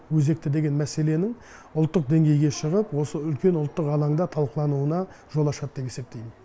өзекті деген мәселенің ұлттық деңгейге шығып осы үлкен алаңда талқылануына жол ашады деп есептеймін